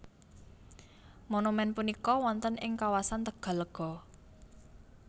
Monumèn punika wonten ing kawasan Tegallega